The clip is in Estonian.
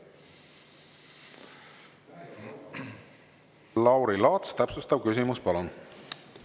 Lauri Laats, täpsustav küsimus, palun!